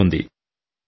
నమస్తే సార్